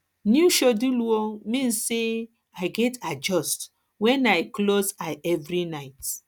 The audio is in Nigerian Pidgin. new schedule um mean say i gats i gats adjust um when i close eye every night